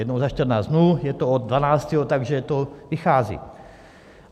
Jednou za 14 dnů, je to od 12., takže to vychází.